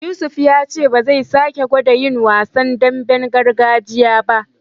Yusuf ya ce ba zai sake gwada yin wasan damben gargajiya ba.